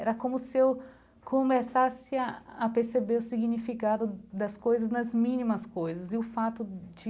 Era como se eu começasse a perceber o significado das coisas nas mínimas coisas e o fato de